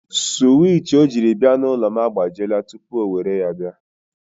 Suwich o jiri bịa n'ụlọ m agbajiela tupu o were ya bịa.